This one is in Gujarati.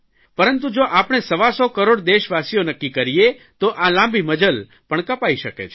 પરંતુ જો આપણે સવાસો કરોડ દેશવાસીઓ નક્કી કરીએ તો આ લાંબી મઝલ પણ કપાઇ શકે છે